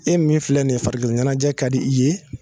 E min filɛ nin ye farikolo ɲɛnajɛ ka di i ye